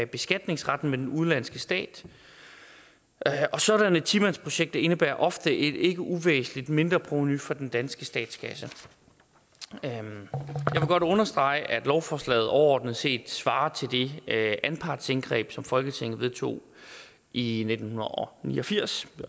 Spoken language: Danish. beskatningsretten med den udenlandske stat sådanne ti mandsprojekter indebærer ofte et ikke uvæsentligt mindreprovenu for den danske statskasse jeg vil godt understrege at lovforslaget overordnet set svarer til det anpartsindgreb som folketinget vedtog i nitten ni og firs det